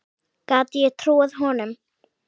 Gat ég trúað honum?